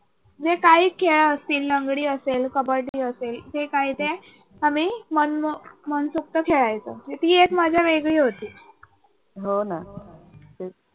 जे काही खेळ असतील लंगडी असेल, कबड्डी असेल मनसोक्त खेळायचो. तर ती एक मजा वेगळी होती.